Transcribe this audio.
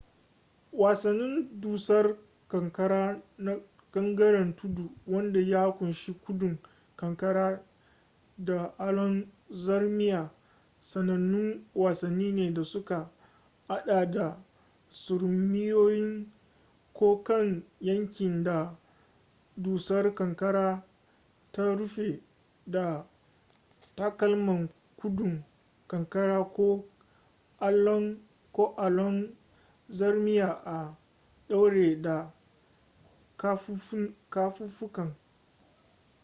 wasannin dusar kankara na gangaren tudu wanda ya kunshi gudun ƙanƙara da allon zarmiya sanannun wasanni ne da suka hada da surmiyowa ta kan yankin da dusar ƙanƙara ta rufe da takalman gudun ƙanƙara ko allon zarmiya a ɗaure da kafafunka